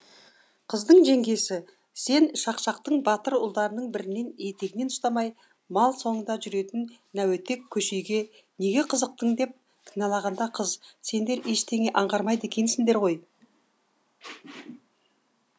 қыздың жеңгесі сен шақшақтың батыр ұлдарының бірінің етегінен ұстамай мал соңында жүретін нәуетек көшейге неге қызықтың деп кінәлағанда қыз сендер ештеңе аңғармайды екенсіңдер ғой